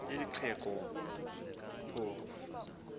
neli xhego phofu